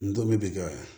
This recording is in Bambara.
N toli bi kɛ